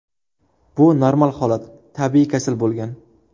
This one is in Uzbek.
Bu normal holat , tabiiy kasal bo‘lgan”.